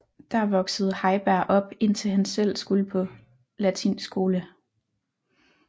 Der voksede Heiberg op indtil han selv skulle på latinskole